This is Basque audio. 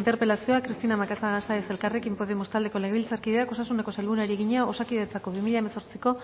interpelazioa cristina macazaga sáenz elkarrekin podemos taldeko legebiltzarkideak osasuneko sailburuari egina osakidetzako bi mila hemezortziko